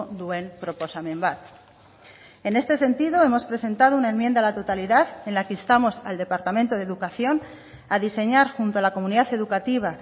duen proposamen bat en este sentido hemos presentado una enmienda a la totalidad en la que instamos al departamento de educación a diseñar junto a la comunidad educativa